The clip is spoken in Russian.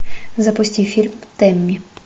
запусти фильм тэмми